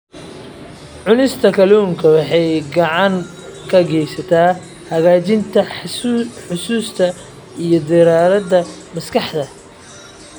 Cunista kalluunka waxay gacan ka geysataa hagaajinta xusuusta iyo diiradda maskaxda.